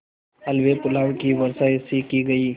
हलवेपुलाव की वर्षासी की गयी